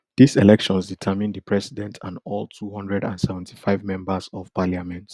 these elections determine the president and all two hundred and seventy-five members of parliament